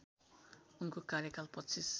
उनको कार्याकाल २५